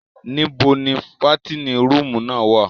Nìbó ni fàtinin rùumù náa wa?